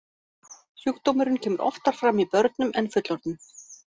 Sjúkdómurinn kemur oftar fram í börnum en fullorðnum.